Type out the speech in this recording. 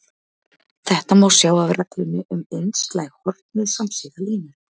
Þetta má sjá af reglunni um einslæg horn við samsíða línur.